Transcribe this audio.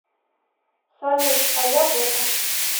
салют а я жэка